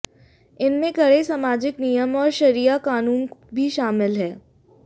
इनमें कड़े सामाजिक नियम और शरिया क़ानून भी शामिल हैं